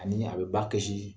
Ani a bɛ ba kɛsi